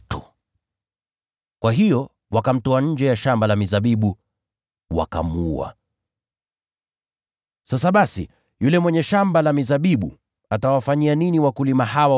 Kwa hiyo wakamtupa nje ya shamba la mizabibu, wakamuua.” “Sasa basi yule mwenye shamba la mizabibu atawafanyia nini wapangaji hawa?